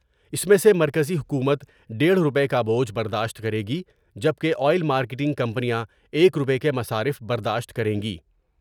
اس میں سے مرکزی حکومت دیڑھ روپے کا بوجھ برداشت کرے گی جب کہ آئل مارکیٹنگ کمپنیاں ایک روپے کے مصارف برداشت کریں گئی ۔